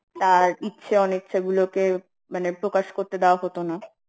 তার ইচ্ছে অনিচ্ছাগুলোকে মানে প্রকাশ করতে দেয়া হতো না